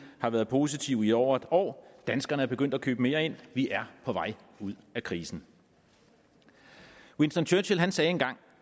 har været positiv i over et år og danskerne er begyndt at købe mere ind vi er på vej ud af krisen winston churchill sagde engang